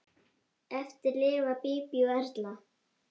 Eftir lifa Bíbí og Erla.